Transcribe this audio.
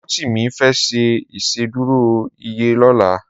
Rotimi fè ṣé Ìṣédùró iyé lòlá